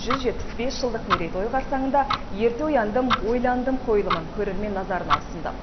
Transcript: жүз жетпіс бес жылдық мерейтойы қарсаңында ерте ояндым ойландым қойылымын көрермен назарына ұсынды